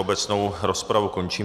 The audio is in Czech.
Obecnou rozpravu končím.